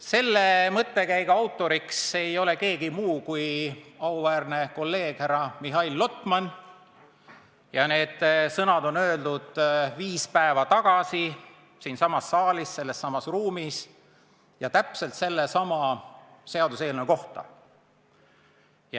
" Selle mõttekäigu autoriks ei ole keegi muu kui auväärne kolleeg härra Mihhail Lotman ja need sõnad on öeldud viis päeva tagasi siinsamas saalis täpselt sellesama seaduseelnõu kohta.